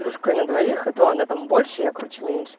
на двоих это она там больше я короче меньше